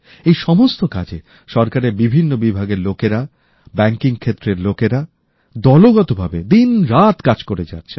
এই সমস্ত কাজে সরকারের বিভিন্ন বিভাগের কর্মীব্যাংকিং ক্ষেত্রের লোকেরা দলগতভাবে দিনরাত কাজ করে যাচ্ছেন